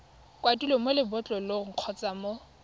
kwadilweng mo lebotlolong kgotsa mo